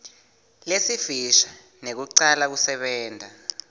lesifisha nekucala kusebenta